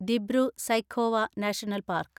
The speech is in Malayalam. Dibru Saikhowa national park